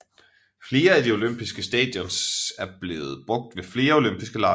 Flere af de olympiske stadions er blevet brugt ved flere olympiske lege